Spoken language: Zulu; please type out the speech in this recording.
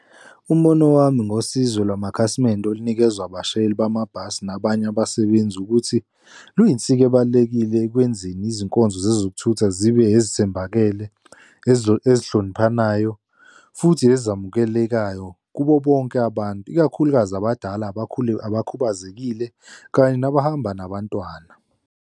Umbono wami ngosizo lwamakhasimende olunikezwa abashayeli bamabhasi nabanye abasebenzi ukuthi, lwiyinsika ebalulekile ekwenzeni izinkonzo zezokuthutha zibe ezithembakele ezihloniphanayo futhi ezamukelekayo kubo bonke abantu, ikakhulukazi abadala abakhulu abakhubazekile, kanye nabahamba nabantwana.